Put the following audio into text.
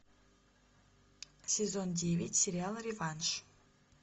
сезон девять сериала реванш